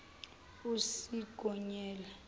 usigonyela